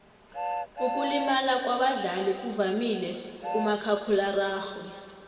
ukulimala kwabadlali kuvamile kumakhakhulararhwe